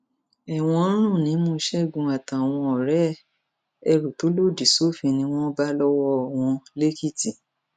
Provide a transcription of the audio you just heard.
ẹwọn ń rùn nímú ṣẹgun àtàwọn ọrẹ ẹ ẹrú tó lòdì sófin ni wọn bá lọwọ wọn lẹkìtì